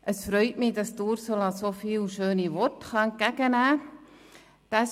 Es freut mich, dass Ursula Zybach so viele schöne Worte entgegennehmen darf.